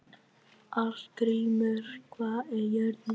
Arngrímur, hvað er jörðin stór?